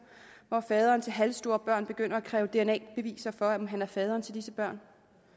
hvor faderen til halvstore børn begynder at kræve dna beviser for at han er faderen til disse børn